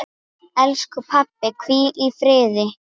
Elsku pabbi, hvíl í friði.